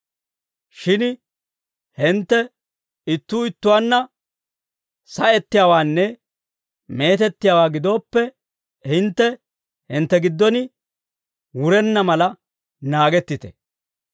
Shin hintte ittuu ittuwaanna sa'ettiyaawaanne meetettiyaawaa gidooppe, hintte hintte giddon wurenna mala naagettite.